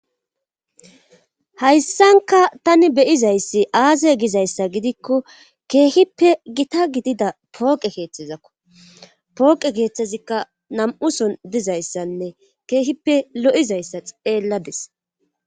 Hayssanka tani beyizayssi aaze gizayssa gidikko keehippe gita gidida pooqe keeththezakko pooqe keeththezikka nam7uson dizayssanne keehippe lo7izayssa xeellades.